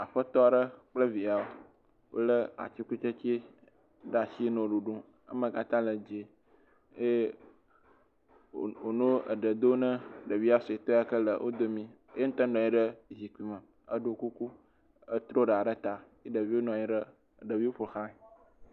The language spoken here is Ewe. Aƒetɔ aɖe kple wolé atikutsetse aɖe ɖe asi nɔ ɖuɖum. Eme katã le dzẽ eye wònɔ eɖe dom na ɖevia suetɔ yi ke le wo domii. Eya ŋutɔ nɔ anyi ɖe zikpi me eɖɔ kuku. Etro ɖa ɖe ta ye ɖeviwo nɔ anyi ɖe, ɖeviwo ƒo ʋlãɛ.